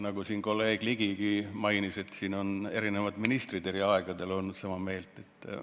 Nagu kolleeg Ligigi mainis, siin on eri ministrid eri aegadel olnud sama meelt.